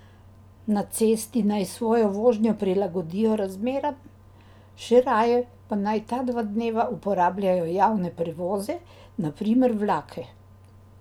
Na cesti naj svojo vožnjo prilagodijo razmeram, še raje pa naj ta dva dneva uporabljajo javne prevoze, na primer vlake.